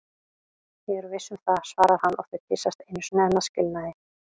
Ég er viss um það, svarar hann og þau kyssast einu sinni enn að skilnaði.